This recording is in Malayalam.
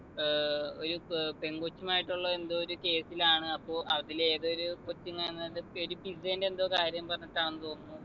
ഏർ ഒരു പെ പെങ്കൊച്ചുമായിട്ടുള്ള എന്തോ ഒരു case ലാണ് അപ്പോ അതിലെ ഏതോ ഒരു കൊച്ചിങ്ങ എങ്ങാണ്ട് ഒരു pizza ന്റെ എന്തോ കാര്യം പറഞ്ഞിട്ടാന്ന് തോന്നുന്നു